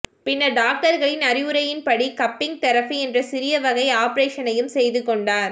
பின்னர் டாக்டர்களின் அறிவுரையின்படி கப்பிங் தெரபி என்ற சிறிய வகை ஆபரேசனையும் செய்து கொண்டார்